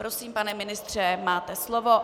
Prosím, pane ministře, máte slovo.